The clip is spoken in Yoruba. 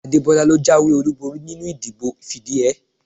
Adebola ló jáwé olúborí nínú ìdìbò fìdíhẹẹ́